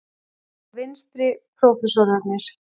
Frá vinstri: Prófessorarnir